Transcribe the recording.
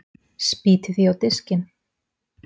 Spýti því á diskinn.